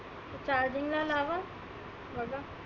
charging ला लावा बघा.